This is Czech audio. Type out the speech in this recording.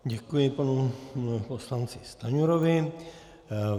Děkuji panu poslanci Stanjurovi.